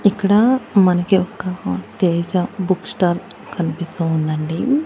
ఇక్కడ మనకి ఒక తేజ బుక్ స్టాల్ కనిపిస్తూ ఉందండి.